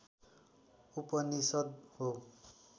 उपनिषद् हो